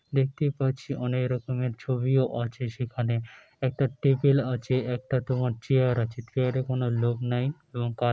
দেখতে পাচ্ছি অনেক রকমের ছবিও আছে | সেখানে একটা টেবিল আছে একটা তোমার চেয়ার আছে চেয়ার এ কোনো লোক নাই এবং কা--